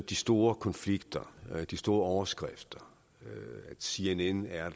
de store konflikter de store overskrifter cnn er